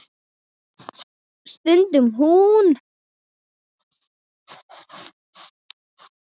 stundi hún.